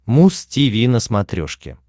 муз тиви на смотрешке